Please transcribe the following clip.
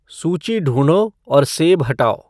सूची ढूँढो और सेब हटाओ